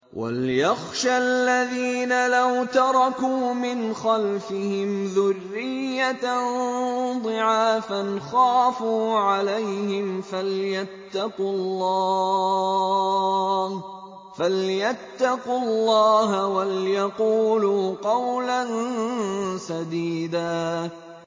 وَلْيَخْشَ الَّذِينَ لَوْ تَرَكُوا مِنْ خَلْفِهِمْ ذُرِّيَّةً ضِعَافًا خَافُوا عَلَيْهِمْ فَلْيَتَّقُوا اللَّهَ وَلْيَقُولُوا قَوْلًا سَدِيدًا